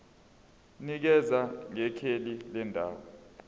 nikeza ngekheli lendawo